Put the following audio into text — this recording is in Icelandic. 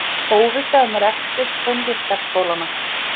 Óvissa um rekstur tónlistarskólanna